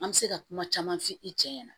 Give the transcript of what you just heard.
An bɛ se ka kuma caman f'i cɛ ɲɛ na